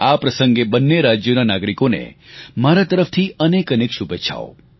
આ પ્રસંગે બંને રાજ્યોના નાગરિકોને મારા તરફથી અનેકઅનેક શુભેચ્છાઓ